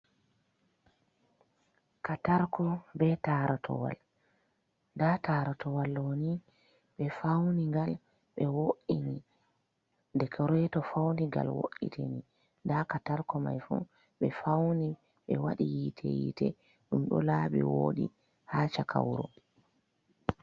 Katarko be tarotowal, nda taratowal ɗo ni ɓe faunigal ɓe wo'ini dekoreto fauni ngal wo’itini nda katarko mai fu ɓe fauni be waɗi yiite yite ɗum ɗo laaɓi woɗi ha chaka wuuro.